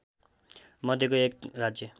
मध्येको एक राज्य